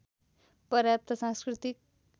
पर्याप्त सांस्कृतिक